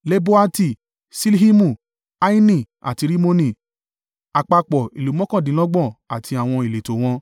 Leboati, Ṣilhimu, Aini àti Rimoni, àpapọ̀ ìlú mọ́kàndínlọ́gbọ̀n àti àwọn ìletò wọn.